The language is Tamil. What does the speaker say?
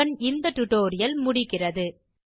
இத்துடன் இந்த டியூட்டோரியல் முடிகிறது